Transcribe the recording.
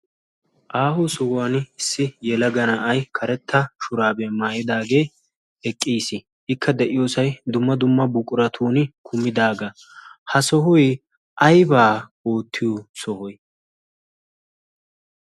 aaho sohuwan issi yelaga na'ay karetta shuraabee maayidaagee eqqiis ikka de'iyoosay dumma dumma buquratun kumidaagaa ha sohoy aybaa oottiyo sohoy